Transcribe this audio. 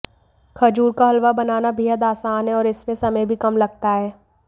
खजूर का हलवा बनाना बेहद आसान है और इसमें समय भी कम लगता है